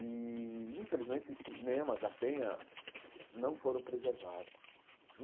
E, infelizmente, esses cinemas da Penha não foram preservados.